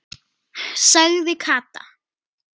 sagði Kata.